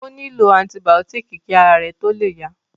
Ó nílò antibàọ́tìkì kí ara rẹ̀ tó le yá